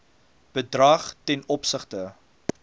bedrag ten opsigte